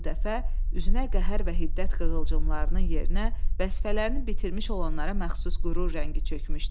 Bu dəfə üzünə qəhər və hiddət qığılcımlarının yerinə vəzifələrini bitirmiş olanlara məxsus qürur rəngi çökmüşdü.